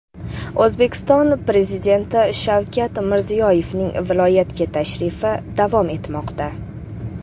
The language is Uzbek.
O‘zbekiston Prezidenti Shavkat Mirziyoyevning viloyatga tashrifi davom etmoqda.